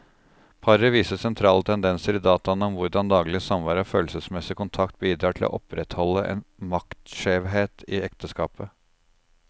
Paret viser sentrale tendenser i dataene om hvordan daglig samvær og følelsesmessig kontakt bidrar til å opprettholde en maktskjevhet i ekteskapet.